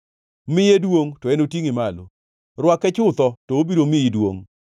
Miye duongʼ, to enotingʼi malo; rwake chutho, to obiro miyi duongʼ.